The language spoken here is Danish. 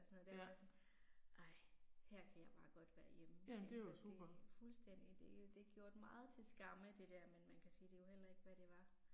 Sådan noget der altså ej, her kan jeg bare godt være hjemme altså det, fuldstændig det er det gjort meget til skamme det der, men man kan sige det er jo heller ikke hvad det var